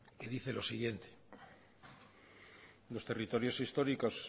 y dice lo siguiente los territorios históricos